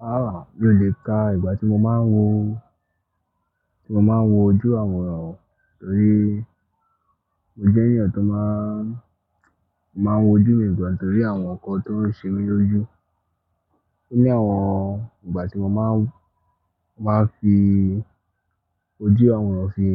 Rárá mi ò le ka ìgbà tí mo máa ń wo, tí mo máa ń wojú àwòrán rí mo jẹ́ ènìyàn tó máa, tó máa ń wojú mi gbọ̀n torí àwọn nǹkan tó ń ṣẹlẹ̀ lójú. O ní àwọn ìgbà tí mo máa ń, máa ń fi ojú àwòrán fi,